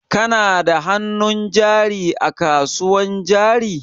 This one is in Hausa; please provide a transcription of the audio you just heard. Kana da hannun jari a kasuwan jari?